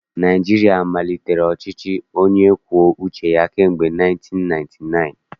Naịjirịa malitere ọchịchị onye kwuo uche kamgbe 1999